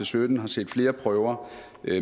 sytten har set flere prøver